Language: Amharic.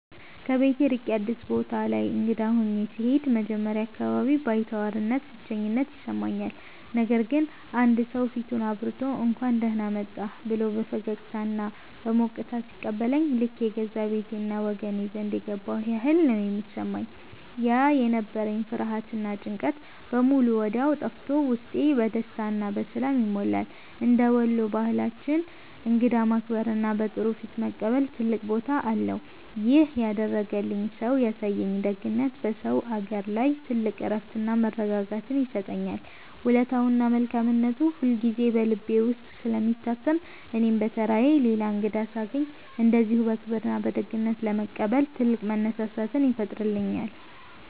ከቤት ርቄ አዲስ ቦታ ላይ እንግዳ ሆኜ ስሄድ መጀመሪያ አካባቢ ባይተዋርነትና ብቸኝነት ይሰማኛል። ነገር ግን አንድ ሰው ፊቱን አብርቶ፣ «እንኳን ደህና መጣህ» ብሎ በፈገግታና በሞቅታ ሲቀበለኝ ልክ የገዛ ቤቴና ወገኔ ዘንድ የገባሁ ያህል ነው የሚሰማኝ። ያ የነበረኝ ፍርሃትና ጭንቀት በሙሉ ወዲያው ጠፍቶ ውስጤ በደስታና በሰላም ይሞላል። እንደ ወሎ ባህላችን እንግዳን ማክበርና በጥሩ ፊት መቀበል ትልቅ ቦታ አለው። ይሄን ያደረገልኝ ሰውዬ ያሳየኝ ደግነት በሰው አገር ላይ ትልቅ እረፍትና መረጋጋትን ይሰጠኛል። ውለታውና መልካምነቱ ሁልጊዜ በልቤ ውስጥ ስለሚታተም እኔም በተራዬ ሌላ እንግዳ ሳገኝ እንደዚሁ በክብርና በደግነት ለመቀበል ትልቅ መነሳሳትን ይፈጥርብኛል።